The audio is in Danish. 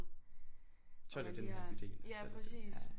Så er det denne her bydel